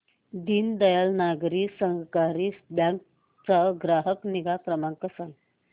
Deendayal Nagari Sahakari bank चा ग्राहक निगा क्रमांक